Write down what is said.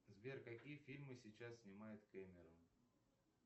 сбер какие фильмы сейчас снимает кэмерон